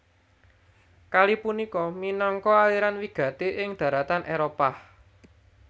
Kali punika minangka aliran wigati ing daratan Éropah